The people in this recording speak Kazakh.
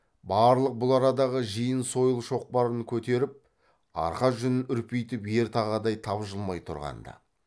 барлық бұл арадағы жиын сойыл шоқпарын көтеріп арқа жүнін үрпитіп ер тағадай тапжылмай тұрған ды